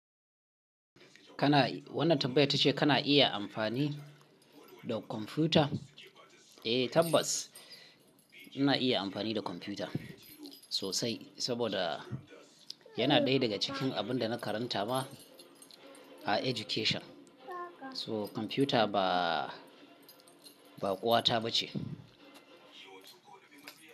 Kana, wannan tambayar ta ce kana iya amfani da kwamfuta? Eh tabbas ina iya amfani da kwamfuta sosai saboda yana ɗaya daga cikin abin da na karanta ma a education. So kwamfuta ba, ba ƙuwata ba ce.